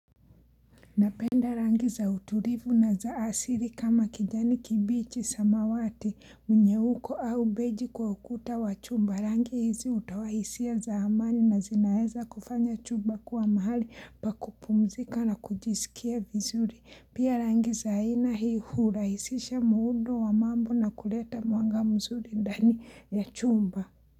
Napenda rangi za uturivu na za asiri kama kijani kibichi samawati mnyeuko au beji kwa ukuta wa chumba. Rangi hizi hutoa hisia za amani na zinaeza kufanya chumba kuwa mahali pa kupumzika na kujisikia vizuri. Pia rangi za aina hii hurahisisha muundo wa mambo na kuleta mwanga mzuri ndani ya chumba.